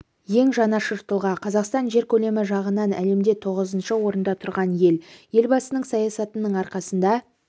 ең жанашыр тұлға қазақстан жер көлемі жағынан әлемде тоғызыншы орында тұрған ел елбасының саясатының арқасында